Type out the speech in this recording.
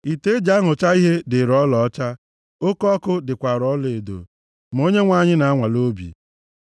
Ite eji anụcha ihe dịrị ọlaọcha, oke ọkụ dịkwara ọlaedo ma Onyenwe anyị na-anwale obi.